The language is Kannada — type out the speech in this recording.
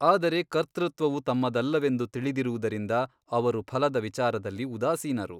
ಆದರೆ ಕರ್ತೃತ್ವವು ತಮ್ಮದಲ್ಲವೆಂದು ತಿಳಿದಿರುವುದರಿಂದ ಅವರು ಫಲದ ವಿಚಾರದಲ್ಲಿ ಉದಾಸೀನರು.